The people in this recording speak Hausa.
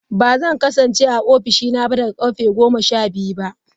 Ba zan kasance a Office dina ba daga karfe 12.